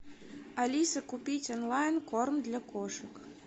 алиса купить онлайн корм для кошек